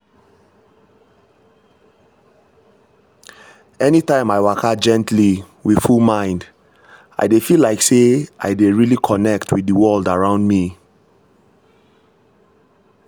anytime i waka gently with full mind i dey feel like say i dey really connect with the world around me.